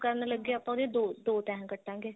ਕਰਨ ਲੱਗੇ ਆਪਾਂ ਉਹਦੇ ਦੋ ਦੋ ਤੈਹਾਂ ਕੱਟਾਂਗੇ